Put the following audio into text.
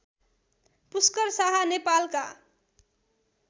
पुष्कर शाह नेपालका